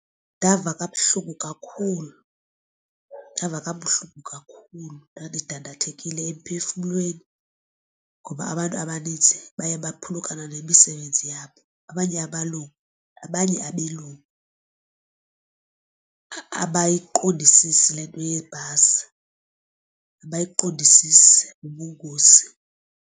Ndava kabuhlungu kakhulu ndava kabuhlungu kakhulu ndandidandathekile emphefumlweni ngoba abantu abanintsi baye baphulukana nemisebenzi yabo. Abanye abalungu, abanye abelungu abayiqondisisi le nto yebhasi abayiqondisisi ubungozi.